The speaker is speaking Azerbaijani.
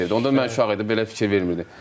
Onda mən uşaq idim, belə fikir vermirdim.